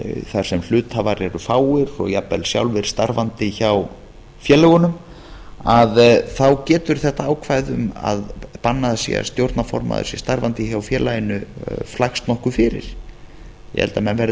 þar sem hluthafar eru fáir og jafnvel sjálfir starfandi hjá félögunum að þá getur þetta ákvæði um að bannað sé að stjórnarformaður sé starfandi hjá félaginu flækst nokkuð fyrir ég held að menn verði að